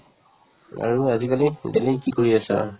আৰু আজিকালি daily কি কৰি আছা ?